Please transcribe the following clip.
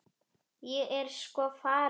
Ég er sko farin.